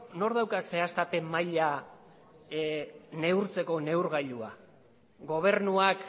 nork dauka zehaztapen maila neurtzeko neurgailua gobernuak